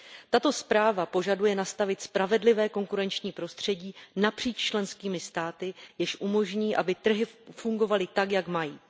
Tato zpráva požaduje nastavit spravedlivé konkurenční prostředí napříč členskými státy, jež umožní, aby trhy fungovaly tak, jak mají.